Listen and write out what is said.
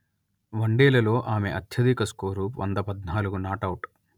వన్డేలలో ఆమె అత్యధిక స్కోరు వంద పధ్నాలుగు నాటౌట్